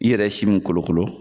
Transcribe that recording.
I yɛrɛ ye si mun kolokolo